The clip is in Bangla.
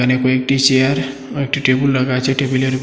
এ কয়েকটি চেয়ার ও একটি টেবুল রাখা আছে টেবিলের উপরে--